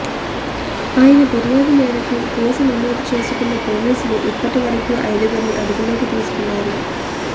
ఆయన ఫిర్యాదు మేరకు కేసు నమోదు చేసుకున్న పోలీసులు ఇప్పటి వరకు ఐదుగురిని అదుపులోకి తీసుకున్నారు